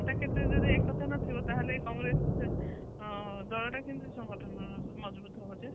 ନେତା ଭିତରେ ଯଦି ଏକତା ନଥିବ ତା ହେଲେ କଂଗ୍ରେସ ଦଳ ଟା କେମିତି ସଂଗଠନ ମଜଭୁତ ହବ ଯେ